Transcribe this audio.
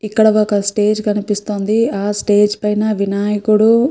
ఇక్కడ ఒక స్టేజ్ కనిపిస్తోంది. ఆ స్టేజ్ పైన వినాయకుడు --